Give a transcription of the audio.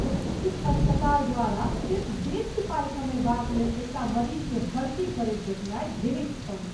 प्रतिष्ठित अस्पताल द्वारा सिर्फ बेसी पाइ कमयबाक लेल एकटा मरीजकेँ भर्ती करैत देखनाइ घृणित छल।